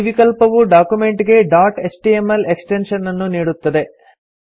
ಈ ವಿಕಲ್ಪವು ಡಾಕ್ಯುಮೆಂಟ್ ಗೆ ಡಾಟ್ ಎಚ್ಟಿಎಂಎಲ್ ಎಕ್ಸ್ಟೆನ್ಶನ್ ಅನ್ನು ನೀಡುತ್ತದೆ